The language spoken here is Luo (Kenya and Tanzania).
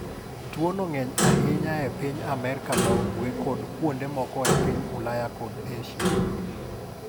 Tuwono ng’eny ahinya e piny Amerka ma Ugwe kod kuonde moko e piny Ulaya kod Asia.